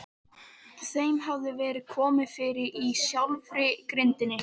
Þeim hafði verið komið fyrir í sjálfri grindinni.